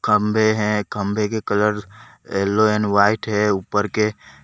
खंभे हैं खंभे के कलर येलो एंड वाइट है। ऊपर के --